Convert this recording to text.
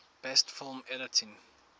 best film editing